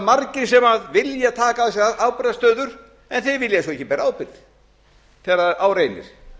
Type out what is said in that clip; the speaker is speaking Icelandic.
nefnilega margir sem vilja taka að sér ábyrgðarstöður en þeir vilja svo ekki bera ábyrgð þegar á reynir